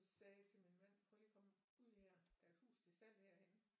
Sagde jeg til min mand prøv lige at komme ud her der er et hus til salg herhenne